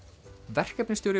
verkefnisstjóri